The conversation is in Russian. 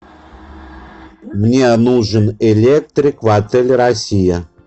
мне нужен электрик в отель россия